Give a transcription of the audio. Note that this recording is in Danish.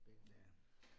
Ja